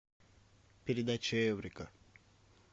передача эврика